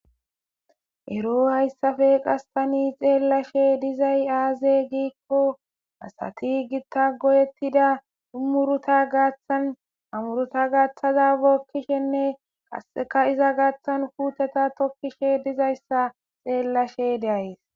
ero hayssafe qass tani xeellashe dizay aaze giikko asati gitta godettida ha muruta gaaththan amuruta gaaththaza bookkishenne qasseka iza gaaththan puuteta tokkishe dizayssa xeellashe de'ays